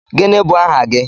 Gịnị bụ aha gị?